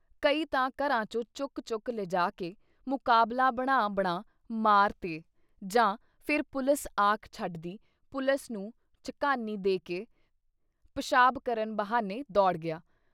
ਕਈ ਤਾਂ ਘਰਾਂ ਚੋਂ ਚੁਕ ਚੁਕ ਲਿਜਾ ਕੇ ਮੁਕਾਬਲਾ ਬਣਾ-ਬਣਾ ਮਾਰ ਤੇ ਜਾਂ ਫਿਰ ਪੁਲਿਸ ਆਖ ਛੱਡਦੀ ਪੁਲਿਸ ਨੂੰ ਝਕਾਨੀ ਦੇਕੇ ਪਿਸ਼ਾਬ ਕਰਨ ਬਹਾਨੇ ਦੌੜ ਗਿਆ।